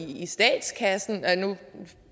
i statskassen nu